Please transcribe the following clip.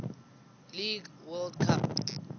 league world cup